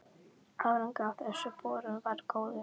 Árangur af þessum borunum varð góður.